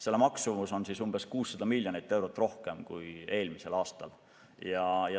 Selle maksumus on 600 miljonit eurot rohkem kui eelmisel aastal.